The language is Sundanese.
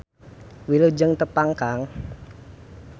Wilujeng tepang kang.